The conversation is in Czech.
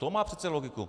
To má přece logiku!